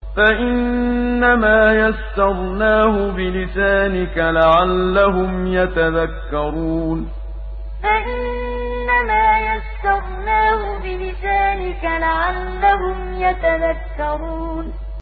فَإِنَّمَا يَسَّرْنَاهُ بِلِسَانِكَ لَعَلَّهُمْ يَتَذَكَّرُونَ فَإِنَّمَا يَسَّرْنَاهُ بِلِسَانِكَ لَعَلَّهُمْ يَتَذَكَّرُونَ